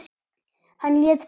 Hann lét byggja